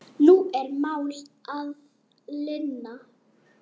Nú er mál að linni.